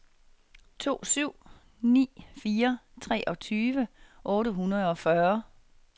to syv ni fire treogtyve otte hundrede og fyrre